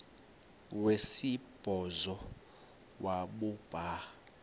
wesibhozo wabhu bha